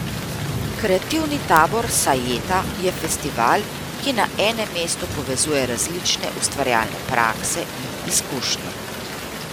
Kreativni tabor Sajeta je festival, ki na enem mestu povezuje različne ustvarjalne prakse in izkušnje.